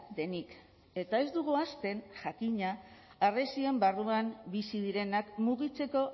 denik eta ez dugu ahazten jakina harresien barruan bizi direnak mugitzeko